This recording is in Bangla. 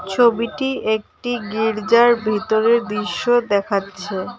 ছবিটি একটি গির্জার ভিতরের দিশ্য দেখাচ্ছে।